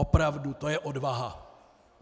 Opravdu, to je odvaha!